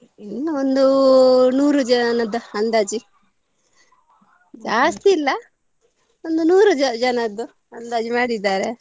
ಏನು ಒಂದು ನೂರು ಜನದ ಅಂದಾಜ್ ಜಾಸ್ತಿ ಇಲ್ಲ ಒಂದು ನೂರು ಜ~ ಜನದ್ದು ಅಂದಾಜು ಮಾಡಿದ್ದಾರೆ.